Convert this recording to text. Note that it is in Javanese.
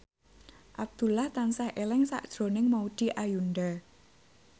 Abdullah tansah eling sakjroning Maudy Ayunda